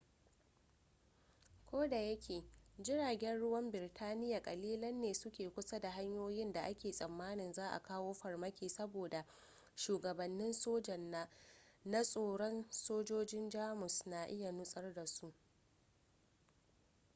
kodayake jiragen ruwan birtaniya kalilan ne su ke kusa da hanyoyin da ake tsammanin za'a kawo farmaki saboda shugabannin sojan na tsoron sojojin jamus na iya nutsar da su